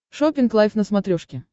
шоппинг лайв на смотрешке